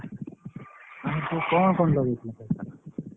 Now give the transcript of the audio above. ଆରେ ତୁ କଣ କଣ ଲଗେଇଥିଲୁ ଫସଲ?